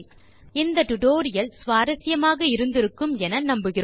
இந்த டுடோரியல் சுவாரசியமாகவும் பயனுள்ளதாகவும் இருந்திருக்கும் என நம்புகிறேன்